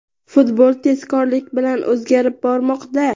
Futbol tezkorlik bilan o‘zgarib bormoqda.